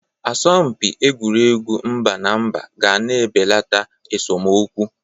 Asọmpị egwuregwu mba na mba ga na-ebelata esomokwu.